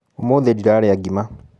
ũmũthĩ ndĩrarĩa ngima.